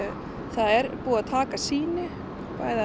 það er búið að taka sýni